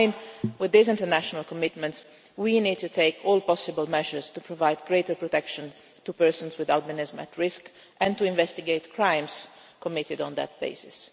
In line with these international commitments we need to take all possible measures to provide greater protection to persons with albinism at risk and to investigate crimes committed on that basis.